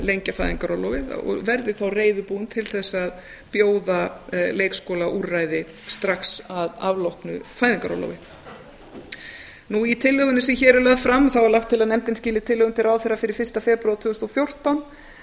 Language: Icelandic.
lengja fæðingarorlofið og verði þá reiðubúin til þess að bjóða leikskólaúrræði strax að afloknu fæðingarorlofi í tillögunni sem hér er lögð fram er lagt til nefndin skili tillögum til ráðherra fyrir fyrsta febrúar tvö þúsund og fjórtán